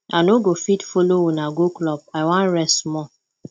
i no go fit follow una go club i wan rest small